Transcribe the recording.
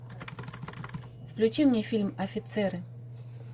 включи мне фильм офицеры